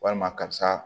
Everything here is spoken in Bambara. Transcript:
Walima karisa